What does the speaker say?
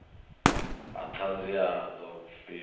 ha ṱhanzi ha ḓo pfiwa